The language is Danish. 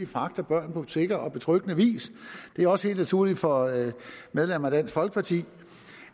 fragter børn på sikker og betryggende vis det er også helt naturligt for medlemmer af dansk folkeparti